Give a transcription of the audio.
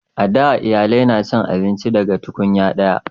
a da iyalai na cin abinci daga tunkunya daya